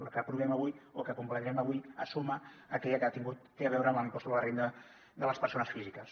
la que aprovem avui o que convalidarem avui es suma a aquella que ha tingut té a veure amb l’impost sobre la renda de les persones físiques